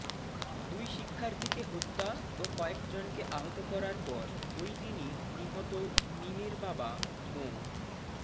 দুই শিক্ষার্থীকে হত্যা ও কয়েকজনকে আহত করার পর ওইদিনই নিহত মীমের বাবা মো